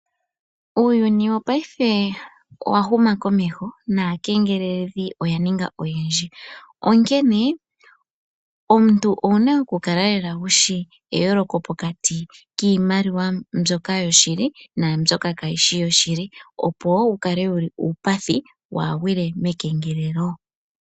Uuyuni wopaife owa huma komeho naakengeleledhi oya ninga oyendji, onkene omuntu owuna oku kala wushi eyooloko pokati Kiimaliwa mbyoka yoshili niimaliwa mbyoka kaayishi yoshili, opo wu kale wuli uupathi waagwile mekengelelo.